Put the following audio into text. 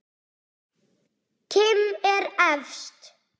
Kim er efst.